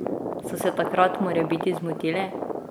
So se takrat morebiti zmotili?